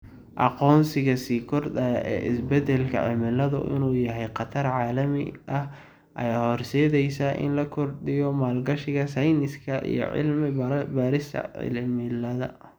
Aqoonsiga sii kordhaya ee isbeddelka cimiladu inuu yahay khatar caalami ah ayaa horseedaysa in la kordhiyo maalgashiga sayniska iyo cilmi-baarista cimilada.